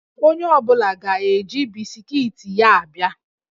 Onye ọ bụla ga-eji bisikiiti ya a bịa